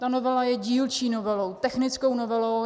Ta novela je dílčí novelou, technickou novelou.